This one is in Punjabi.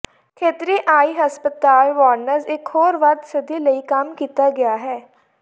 ਖੇਤਰੀ ਆਈ ਹਸਪਤਾਲ ਵਾਰਨ੍ਜ਼ ਇੱਕ ਹੋਰ ਵੱਧ ਸਦੀ ਲਈ ਕੰਮ ਕੀਤਾ ਗਿਆ ਹੈ